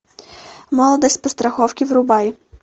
молодость по страховке врубай